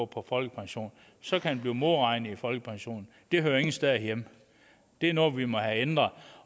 på folkepension så kan den modregnes i folkepensionen det hører ingen steder hjemme det er noget vi må have ændret